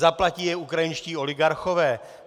Zaplatí je ukrajinští oligarchové?